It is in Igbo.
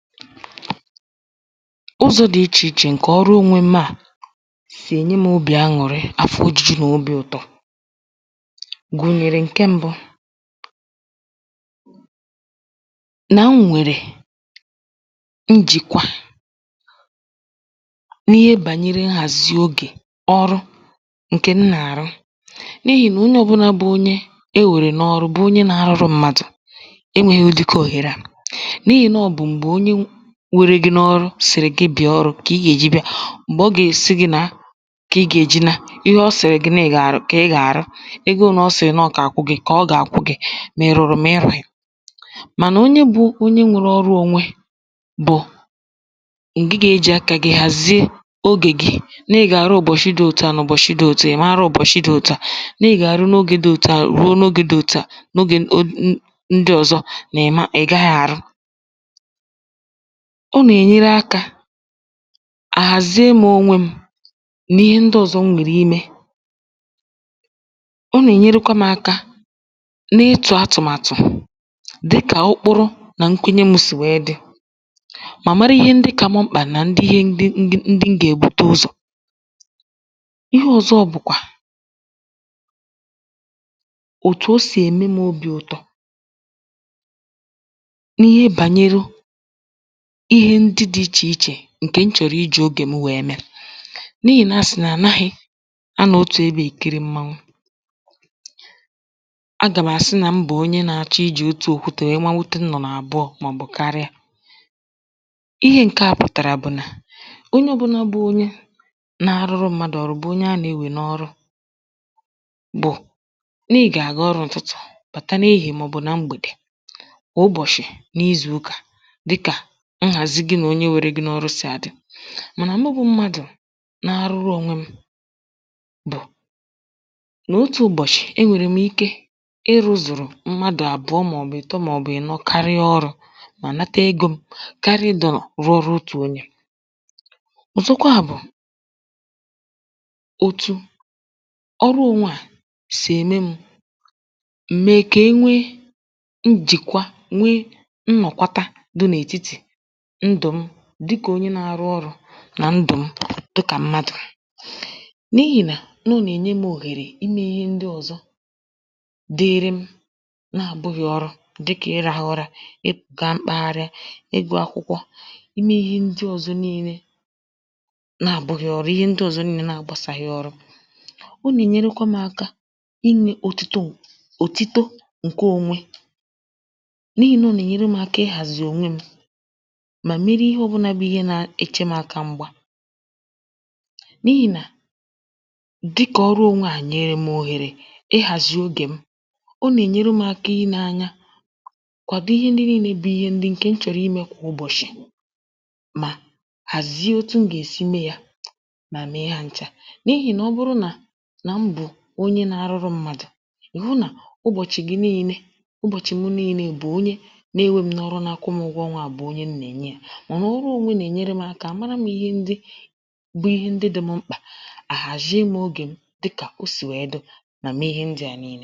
ụzọ̄ dị ichè ichè ǹkè ọrụ onwe m̄ à sì ènye m̄ obì añụ̀rị afọ ōjūjū nà obī ụtọ gụ̀nyèrè ǹke m̄bụ̄ nà m nwèrè njìkwa n’ihe gbànyere nhàzi ogè ọrụ ǹkè m nà-àrụ n’ihì nà onye ọ̄bụ̄nà bụ onye ewèrè na-ọrụ bụ onye nā-ārụ̄rụ̄ mmadụ̀ enwēghī ụ̀dịka òhère à n’ihì nà ọ bụ̀ m̀gbè onye were gị n’ọrụ sị̀rị̀ gị bị̀a ọrụ̄ kà ị gà-èji bịa m̀gbè ọ gà-àsị gị̄ nàa kà ị gà-èji naa ihe ọ sị̀rị̀ nà ị gà-àrụ kà ị gà-àrụ ego ōnē ọ sị̀ nà ọ gà-akwụ gị̄ kà ọ gà-àkwụ gị̄ mà ị̀ rụ̀rụ̀ mà ị rụ̄ghị̄ mànà onye bụ̄ onye nwērē ọrụ ōnwē bụ̀ ǹgị gà-ejì aka gị̄ hàzie ogè gị nà ị gà-àrụ ụ̀bọ̀shị dị̄ òtu à nà ụbọ̀shị dị̄ òtu à nà ị̀ ma nrụ ụ̀bọ̀shị̀ dị̄ òtu à nà ị gà-àrụ n’ogē dị òtu à ruo n’ogē dị òtu à n’ogè o n ndị ọ̀zọ nà ị̀ ma nà ị̀ gaghị̄ àrụ ọ nā-ēnyere akā àhàzie m̄ ònwe m̄ mee ihe ndị ọ̄zọ̄ m nwèrè imē ọ nà-ènyerekwa m̄ aka na-ịtụ̀ atụ̀màtụ̀ dịkà ụkpụrụ nà nkwụnye m̄ sì nwèe dị mà mara ihe ndị kā m̄ mkpà nà ndị ihe ndị ndị ndị m gà-èbuta ụzọ̀ ihe ọ̀zọ bụ̀kwà òtù o sì ème m̄ obī ụ̀tọ n’ihe gbànyere ihe ndị dị̄ ichè ichè ǹkè m chọ̀rọ̀ ijī ogè m nwèe mee n’ihì nà asị̀ nà ànaghị̄ anọ̀ otù ebē èkiri mmawu agà m̀ àsị nà m bụ̀ onye nā-āchọ̄ ijì otù òkutè nwèe mawute nnụ̀nụ̀ àbụọ̄ màọ̀bụ̀ karịa ihe ǹke à pụ̀tàrà bụ̀ nà onye ọ̄bụ̄nà bụ onye nā-ārụ̄rụ̄ mmadụ̀ ọrụ bụ onye a na-enwè n’ọrụ bụ̀ nà ị gà-àga ọrụ ụ̀tụtụ bàta n’ehìhiè màọ̀bụ̀ na mgbèdè mà ụbọ̀shị̀ n’izù ụkà dịkà nhàzi gị nà onye nwērē gị̄ n’ọrụ sì àdị mànà mụ bụ̄ mmadụ̀ na-arụrụ ònwe m̄ bụ̀ n’otū ụ̀bọ̀shị̀ enwèrè m̀ ike ịrụ̄zụ̀rụ̀ mmadụ̀ àbụọ̄ màọ̀bụ̀ ị̀tọ màọ̀bụ̀ ànọ̀ karịa ọrụ̄ mà nata egō m̄ karịa ịdọ̀rọ̀ rụọ ọrụ otù onyē ọ̀zọkwa bụ̀ òtù ọrụ ònwe à sì ème m̄ m̀ mee kà enwe njìkwa nwe nnọ̀kwata dị̄ n’ètitì ndụ̀ m dịkà onye nā-ārụ̄ ọrụ̄ nà ndụ̀ m dịkà mmadụ̀ n’ihì nà nọ nà-ènye m̄ òhèrè imē ihe ndị ọ̀zọ dịrị m na-abụ̄ghị̄ ọrụ dịkà ịrāhụ̄ ụ̄rā ịgā mkpaharị ịgụ̄ akwụkwọ imē ihe ndị ọ̀zọ niīnē na-abụ̄ghị̄ ọrụ ihe ndị ọ̀zọ niīnē na-agbāsāghị̄ ọrụ ọ nà-ènyerekwa m̄ ākā inwē òtito òtito ǹke ōnwē n’ihì nà ọ nà-ènyere m̄ ākā ịhàzì ònwe m̄ mà meri ihe ọ̄bụ̄nà bụ ihe na-eche m̄ aka m̄gbā n’ihì nà dịkà ọrụ ònwe à nyèrè m̀ òhèrè ịhàzi ogè m ọ nà-enyere m̄ ākā inē ānyā kwàdo ihe ndị niīnē bụ ihe ǹkè m chọ̀rọ̀ imē kà ụbọ̀shị̀ mà hàzie otu m gà-èsi mee yā mà mee ha n̄chā n’ihì nà ọ bụrụ nà nà m bụ̀ onye nā-arụrụ mmadụ̀ ị̀ hụ nà ụbọ̀chị̀ gị niīnē ụbọ̀chị̀ m niīnē bụ̀ onye na-enwē m̄ n’ọrụ na-akwụ m̄ ụgwọ ọnwā bụ̀ onye m nà-ènye yā mànà ọ ọrụ ònwe nà-ènyere m̄ ākā àmara m̄ ihe ndị bụ ihe ndị dị̄ m̄ mkpà àhàzie m̄ ogè m dịkà o sì nwèe dị mà mee ihe ndị à niīnē